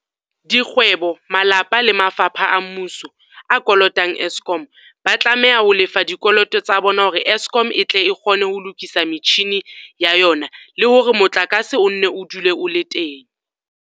Dikgwe bo, malapa le mafapha a mmuso a kolotang Eskom, ba tlameha ho lefa dikoloto tsa bona hore Eskom e tle e kgone ho lokisa metjhini ya yona e le hore motlakase o nne o dule o le teng.